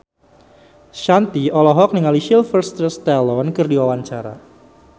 Shanti olohok ningali Sylvester Stallone keur diwawancara